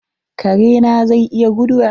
Kare na zai iya guduwa?